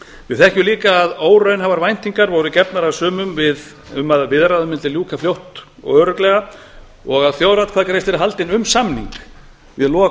við þekkjum líka að óraunhæfar væntingar voru gefnar af sumum um að byggðaráðið mundi ljúka fljótt og örugglega og að þjóðaratkvæðagreiðsla yrði haldin um samning við lok